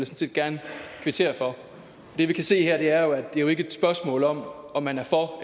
set gerne kvittere for det vi kan se her er jo at det ikke er et spørgsmål om om man er for